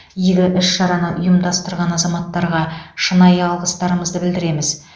игі іс шараны ұйымдастырған азаматтарға шынайы алғыстарымызды білдіреміз